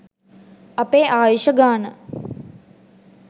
අපේ ආයුෂ ගාන